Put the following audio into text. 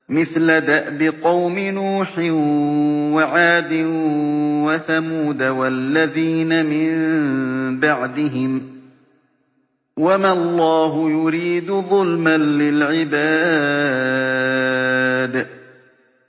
مِثْلَ دَأْبِ قَوْمِ نُوحٍ وَعَادٍ وَثَمُودَ وَالَّذِينَ مِن بَعْدِهِمْ ۚ وَمَا اللَّهُ يُرِيدُ ظُلْمًا لِّلْعِبَادِ